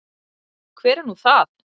Hver er nú það?